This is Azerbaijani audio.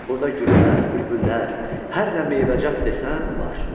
Burda güllər, bülbüllər, hər nə meyvəcat desən var.